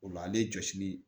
O la ale jɔsili